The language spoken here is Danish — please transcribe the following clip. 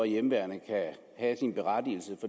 hjemmeværnet kan have sin berettigelse